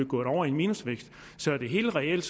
gået over i minusvækst så er det helt reelt